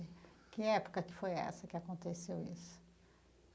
Que época que foi essa que aconteceu isso?